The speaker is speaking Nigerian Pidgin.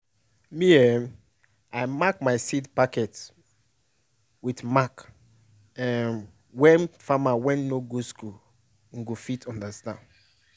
me um i mark my seed packet with mark um wey farmer wey no go school um go fit understand.